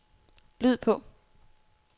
lyd på